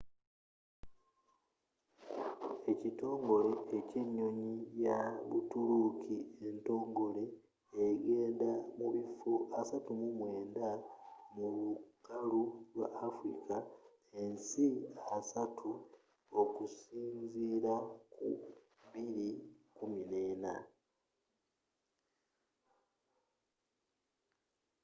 ekitongole ky'enyonyi ya butuluuki entogole egenda mubiffo 39 mu lukalu lwa afilika ensi 30 okusinziila ku 2014